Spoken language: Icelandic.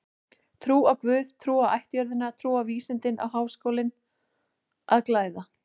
Trú á guð, trú á ættjörðina, trú á vísindin á Háskólinn að glæða.